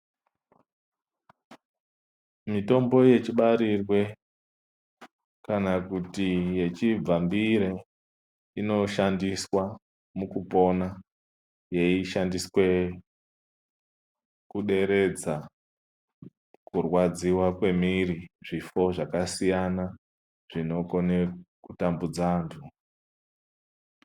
Mitombo yechibarirwe, kana kuti yechibvambire , inoshandiswa mukupona, yeishandiswe kuderedza, kurwadziwa kwemiiri, zvifo zvakasiyana zvinokone kutambudza antu.